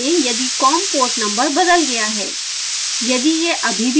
जाँचें यदि com port number बदल गया है